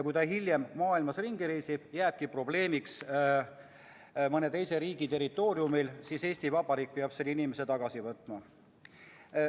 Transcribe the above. Kui ta hiljem maailmas ringi reisib ja tekib probleem mõne teise riigi territooriumil, siis Eesti Vabariik peab selle inimese tagasi võtma.